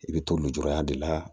I bɛ to lujuraya de la